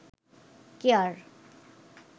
care